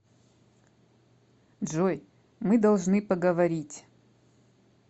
джой мы должны поговорить